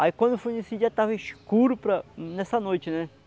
Aí quando foi nesse dia, estava escuro para... Nessa noite, né?